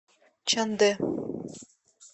чандэ